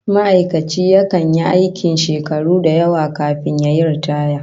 Ma'aikaci yakan yi aikin shakaru da yawa kafin yayi riitaya